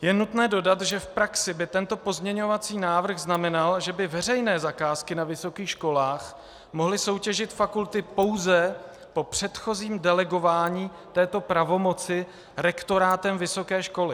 Je nutné dodat, že v praxi by tento pozměňovací návrh znamenal, že by veřejné zakázky na vysokých školách mohly soutěžit fakulty pouze po předchozím delegování této pravomoci rektorátem vysoké školy.